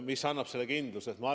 Mis annab selle kindluse?